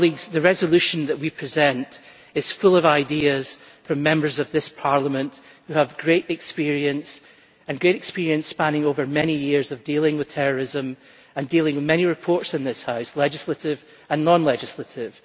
The resolution that we present is full of ideas from Members of this Parliament who have great experience spanning many years of dealing with terrorism and dealing with many reports in this House both legislative and non-legislative.